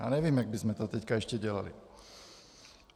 Já nevím, jak bychom to teď ještě dělali.